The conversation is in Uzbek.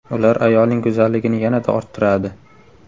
Ular ayolning go‘zalligini yanada orttiradi.